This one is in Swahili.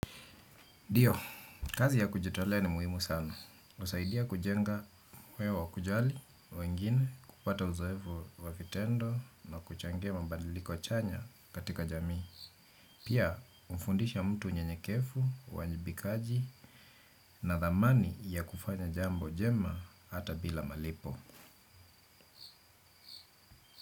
Ndio, kazi ya kujitolea ni muhimu sana. Husaidia kujenga weo wa kujali, wengine, kupata uzoevu wa vitendo na kuchangia mabadiliko chanya katika jamii. Pia, hufundisha mtu unyenyekevu, uwajibikaji na dhamani ya kufanya jambo jema hata bila malipo.